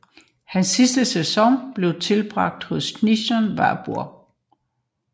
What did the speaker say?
Hans sidste sæson blev tilbragt hos Kickers Würzburg